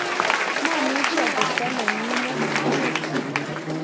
mamuchi atebto nenyine ui